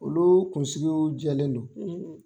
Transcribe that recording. Olu kunsigiw jɛlen do.